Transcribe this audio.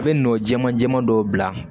I bɛ nɔ jɛman jɛman dɔw bila